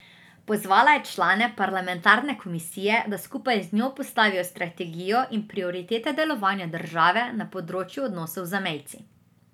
Pozvala je člane parlamentarne komisije, da skupaj z njo postavijo strategijo in prioritete delovanja države na področju odnosov z zamejci.